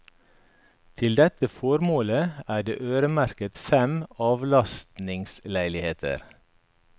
Til dette formål er det øremerket fem avlastningsleiligheter.